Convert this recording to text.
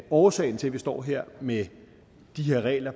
årsagen til at vi står her med de her regler